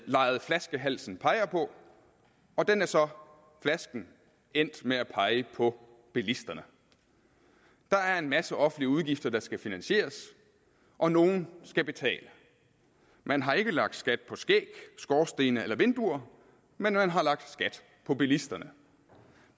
leget flaskehalsen peger på og den er så flasken endt med at pege på bilisterne der er en masse offentlige udgifter der skal finansieres og nogen skal betale man har ikke lagt skat på skæg skorstene eller vinduer men man har lagt skat på bilisterne